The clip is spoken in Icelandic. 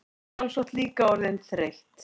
Sjálfsagt líka orðin þreytt.